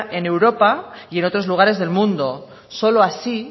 en europa y en otros lugares del mundo solo así